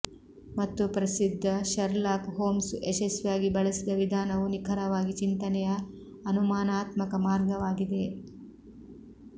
ಮತ್ತು ಪ್ರಸಿದ್ಧ Sherlock Holmes ಯಶಸ್ವಿಯಾಗಿ ಬಳಸಿದ ವಿಧಾನವು ನಿಖರವಾಗಿ ಚಿಂತನೆಯ ಅನುಮಾನಾತ್ಮಕ ಮಾರ್ಗವಾಗಿದೆ